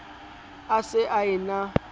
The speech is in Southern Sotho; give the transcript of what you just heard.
a se a e na